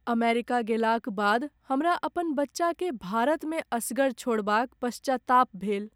America गेलाक बाद हमरा अपन बच्चाकेँ भारतमे असगर छोड़बाक पश्चाताप भेल।